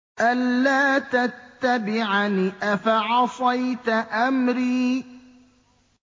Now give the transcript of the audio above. أَلَّا تَتَّبِعَنِ ۖ أَفَعَصَيْتَ أَمْرِي